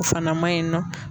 O fana ma ɲi nɔ.